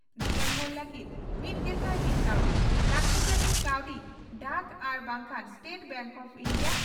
ᱡᱤᱵᱚᱱᱵᱷᱩᱨ ᱞᱟᱹᱜᱤᱫ ᱢᱤᱛᱜᱮᱥᱟᱭ ᱢᱤᱛ ᱠᱟᱣᱰᱤ ᱾ᱞᱟᱠᱛᱤ ᱡᱟᱱᱤᱡ ᱠᱟᱣᱰᱤ ᱰᱟᱠ ᱟᱨ ᱵᱟᱝᱠᱷᱟᱱ ᱥᱴᱮᱴ ᱵᱮᱝᱠ ᱚᱯᱷ ᱤᱱᱰᱤᱭᱟ